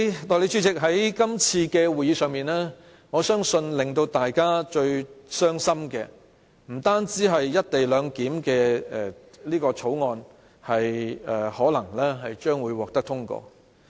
代理主席，在今次的會議上，我相信令大家非常傷心的不單是有關"一地兩檢"的《條例草案》將會獲得通過。